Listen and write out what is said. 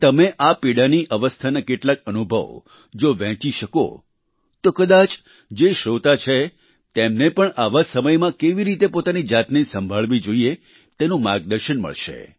કે તમે આ પીડાની અવસ્થાના કેટલાક અનુભવ જો વહેંચી શકો તો કદાચ જે શ્રોતા છે તેમને પણ આવા સમયમાં કેવી રીતે પોતાની જાતને સંભાળવવી જોઈએ તેનું માર્ગદર્શન મળશે